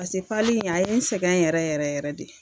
Pase pali in a ye n sɛgɛn yɛrɛ yɛrɛ yɛrɛ de